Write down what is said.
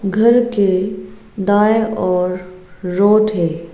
घर के दाएं और रोड है।